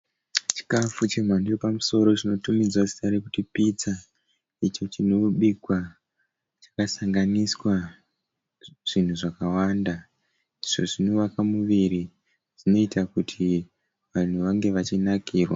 Chikafu chemhando yepamusoro chinotumidzwa zita rekuti pitsa. Icho chinobikwa chakasanganiswa zvinhu zvakawanda, izvo zvinovaka muviri zvinoita kuti vanhu vange vachinakirwa.